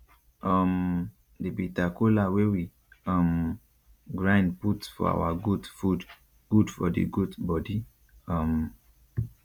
um the bitter cola wey we um grind put for our goat food good for the goat body um